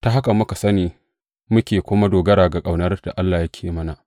Ta haka muka sani, muke kuma dogara ga ƙaunar da Allah yake mana.